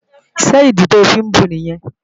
Ṣé ìdí tí o fí ń bu nìyẹn?